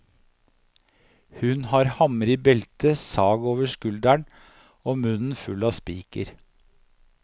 Hun har hammer i beltet, sag over skuldren, og munnen full av spiker.